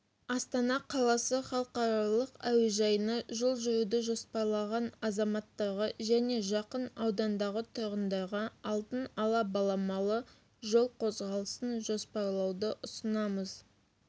астана қаласы халықаралық әуежайына жол жүруді жоспарлаған азаматтарға және жақын аудандардағы тұрғындарға алдын ала баламалы жол қозғалысын жоспарлауды ұсынамыз